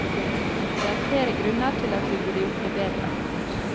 Det er flere grunner til at vi burde gjort det bedre.